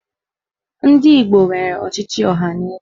Ndị Igbo nwere ọchịchị ọhaneze.